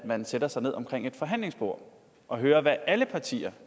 at man sætter sig ned omkring et forhandlingsbord og hører hvad alle partier